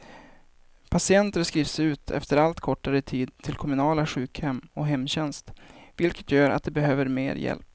Patienter skrivs ut efter allt kortare tid till kommunala sjukhem och hemtjänst, vilket gör att de behöver mer hjälp.